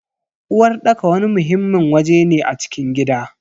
Uwarɗaka wani muhimmin waje ne a cikin gida.